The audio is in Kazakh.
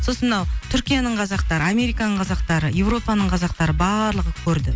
сосын мынау түркияның қазақтары американың қазақтары европаның қазақтары барлығы көрді